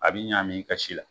A bi ɲami i ka si la